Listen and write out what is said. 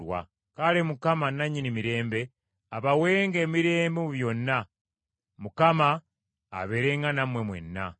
Kale Mukama nannyini mirembe abawenga emirembe mu byonna. Mukama abeerenga nammwe mwenna.